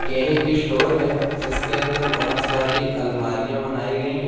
यह एक स्टोर है जिसके अंदर बहोत सारी आलमारियां बनाई गई हैं।